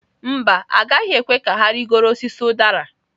Mba, agaghị ekwe ka ha rịgoro osisi udara.